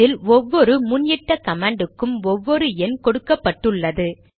இதில் ஒவ்வொரு முன் இட்ட கமாண்டுக்கும் ஒவ்வொரு எண் கொடுக்கப்பட்டுள்ளது